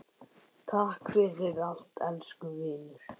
Takk fyrir allt, elsku vinur.